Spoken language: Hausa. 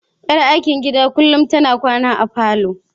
Yar aikin gidan kullum tana kwana a falon.